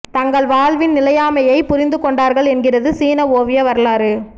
தங்கள் வாழ்வின் நிலையாமையைப் புரிந்து கொண்டார்கள் என்கிறது சீன ஒவிய வரலாறு